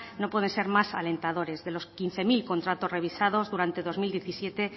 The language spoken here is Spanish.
no puede ser más alentadores de los quince mil contratos revisados durante dos mil diecisiete